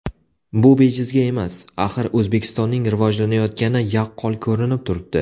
Bu bejizga emas, axir O‘zbekistonning rivojlanayotgani yaqqol ko‘rinib turibdi.